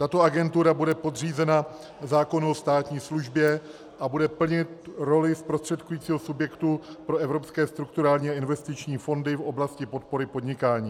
Tato agentura bude podřízena zákonu o státní službě a bude plnit roli zprostředkujícího subjektu pro evropské strukturální a investiční fondy v oblasti podpory podnikání.